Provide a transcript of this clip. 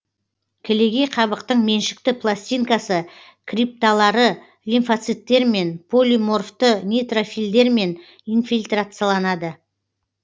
кілегей қабықтың меншікті пластинкасы крипталары лимфоциттермен полиморфты нейтрофильдермен инфильтрацияланады